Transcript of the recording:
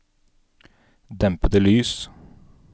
dempede lys